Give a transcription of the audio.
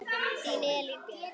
Þín Elín Björk.